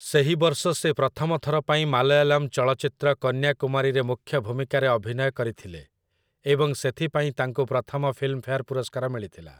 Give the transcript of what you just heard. ସେହି ବର୍ଷ ସେ ପ୍ରଥମ ଥର ପାଇଁ ମାଲୟାଲମ ଚଳଚ୍ଚିତ୍ର 'କନ୍ୟାକୁମାରୀ'ରେ ମୁଖ୍ୟ ଭୂମିକାରେ ଅଭିନୟ କରିଥିଲେ, ଏବଂ ସେଥିପାଇଁ ତାଙ୍କୁ ପ୍ରଥମ ଫିଲ୍ମଫେୟାର ପୁରସ୍କାର ମିଳିଥିଲା ।